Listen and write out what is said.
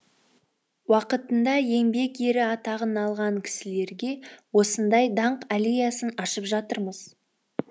уақытында еңбек ері атағын алған кісілерге осындай даңқ аллеясын ашып жатырмыз